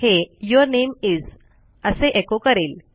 हे your name इस असे एको करेल